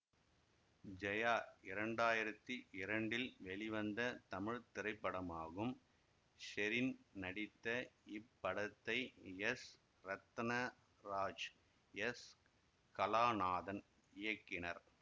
ஜெயா இரண்டு ஆயிரத்தி இரண்டு இல் வெளிவந்த தமிழ் திரைப்படமாகும் ஷெரின் நடித்த இப்படத்தை எஸ் ரத்னாராஜ் எஸ் கலாநாதன் இயக்கினர்